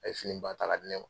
A ye fini ba taa ka di ne ma.